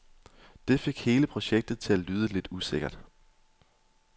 Det fik hele projektet til at lyde lidt usikkert.